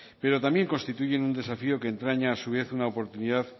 pero también constituyen un desafío que entraña a su vez una oportunidad